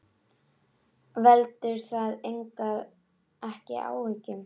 Veldur það ekki áhyggjum?